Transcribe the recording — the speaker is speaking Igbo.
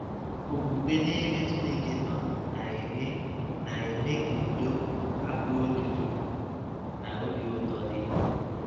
Okwukwe n'ebe Chineke nọ na-eme na-eme ka udo, afọ ojuju, na obi ụtọ dị